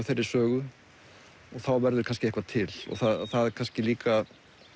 þeirri sögu og þá verður kannski eitthvað til og það kannski líka